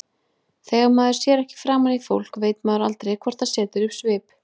Þegar maður sér ekki framan í fólk veit maður aldrei hvort það setur upp svip.